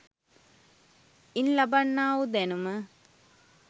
ඉන් ලබන්නා වූ දැනුම